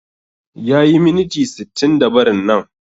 Yayi miniti sittinda barin nan